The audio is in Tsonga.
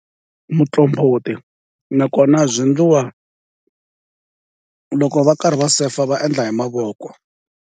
Muqombhoti nakona byi ndliwa loko va karhi va sefa va endla hi mavoko.